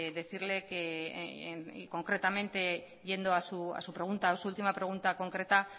decirle concretamente yendo a su pregunta o su última pregunta concreta